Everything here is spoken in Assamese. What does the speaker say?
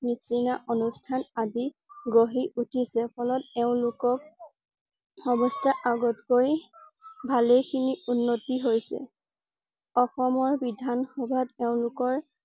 নিছিনা অনুষ্ঠান আদি গঢ়ি উঠিছে ফলত এওঁলোকক অৱস্থা আগত কৈ ভালে খিনি উন্নতি হৈছে। অসমৰ বিধান সভাত এওঁলোকৰ